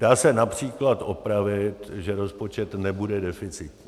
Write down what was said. Dá se například opravit, že rozpočet nebude deficitní.